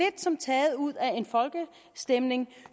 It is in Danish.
som taget ud af en folkestemning